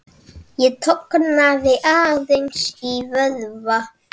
Ég tognaði aðeins í vöðva.